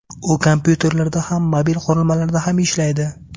U kompyuterlarda ham, mobil qurilmalarda ham ishlaydi.